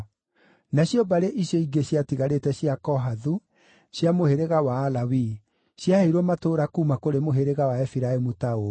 Nacio mbarĩ icio ingĩ ciatigarĩte cia Kohathu cia mũhĩrĩga wa Alawii ciaheirwo matũũra kuuma kũrĩ mũhĩrĩga wa Efiraimu ta ũũ: